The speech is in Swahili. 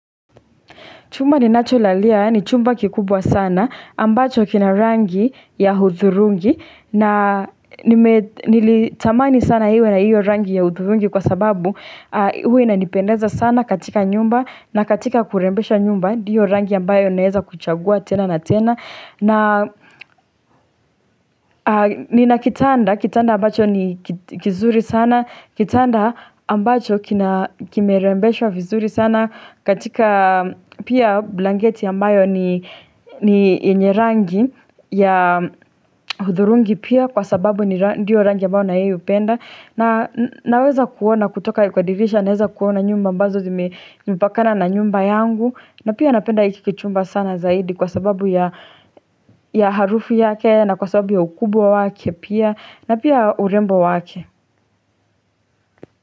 Chumba ni nacho lalia ni chumba kikubwa sana ambacho kina rangi ya hudhurungi na nilitamani sana iwe na hiyo rangi ya hudhurungi kwa sababu huwa inanipendeza sana katika nyumba na katika kurembesha nyumba ndiyo rangi ambayo ninaweza kuchagua tena na tena. Na ninakitanda, kitanda ambacho ni kizuri sana, kitanda ambacho kimerembeshwa vizuri sana katika pia blangeti ambayo ni yenye rangi ya hudhurungi pia kwa sababu ni ndiyo rangi ambayo na yeye hupenda. Na naweza kuona kutoka kwadirisha naweza kuona nyumba mbazo zime pakana na nyumba yangu na pia napenda hikikichumba sana zaidi kwa sababu ya harufu yake na kwa sababu ya ukubwa wake pia na pia urembo wake.